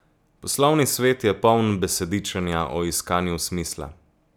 Poslovni svet je poln besedičenja o iskanju smisla.